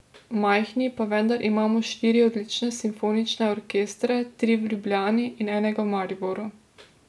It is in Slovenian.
Majhni, pa vendar imamo štiri odlične simfonične orkestre, tri v Ljubljani in enega v Mariboru.